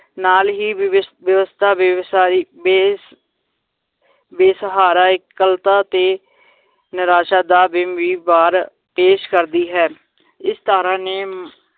ਨਾਲ ਹੀ ਵਿਵਿਸ~ ਵਿਵਸਥਾ ਵੇਵਸਾਰੀ ਬੇਸ~ ਬੇਸਹਾਰਾ ਇਕੱਲਤਾ ਤੇ ਨਿਰਾਸ਼ਾ ਦਾ ਬਾਰ ਪੇਸ਼ ਕਰਦੀ ਹੈ ਇਸ ਧਾਰਾ ਨੇ